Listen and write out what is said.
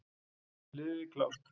Liði klárt!